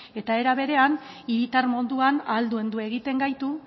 eta era berean hiritar moduan ahaldundu egiten gaitu